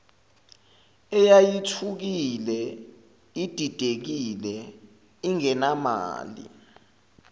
eyayithukile ididekile ingenamali